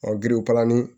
Ɔ giriw kalali